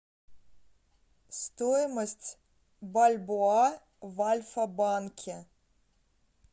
стоимость бальбоа в альфа банке